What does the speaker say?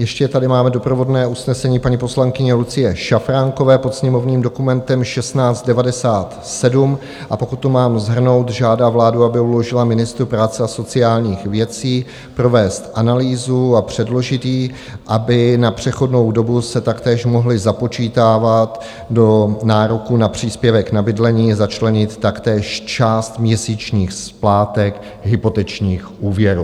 Ještě tady máme doprovodné usnesení paní poslankyně Lucie Šafránkové pod sněmovním dokumentem 1697, a pokud to mám shrnout, žádá vládu, aby uložila ministru práce a sociálních věcí provést analýzu a předložit ji, aby na přechodnou dobu se taktéž mohly započítávat do nároku na příspěvek na bydlení, začlenit taktéž část měsíčních splátek hypotečních úvěrů.